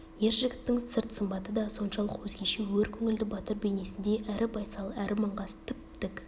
ер жігіттің сырт сымбаты да соншалық өзгеше өр көңілді батыр бейнесіндей әрі байсал әрі маңғаз тіп-тік